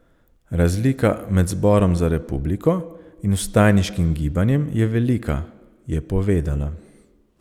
Razlika med Zborom za republiko in vstajniškim gibanjem je velika, je povedala.